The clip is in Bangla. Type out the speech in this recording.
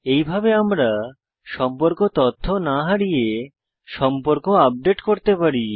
এইভাবে আমরা সম্পর্ক তথ্য না হারিয়ে সম্পর্ক আপডেট করতে পারি